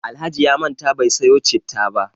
Alhaji ya manta bai sayo citta ba.